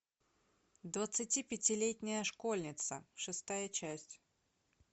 двадцатипятилетняя школьница шестая часть